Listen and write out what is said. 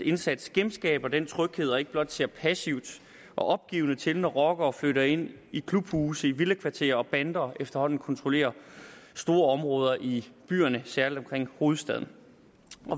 indsats genskaber den tryghed og ikke blot ser passivt og opgivende til når rockere flytter ind i klubhuse i villakvarterer og bander efterhånden kontrollerer store områder i byerne særlig omkring hovedstaden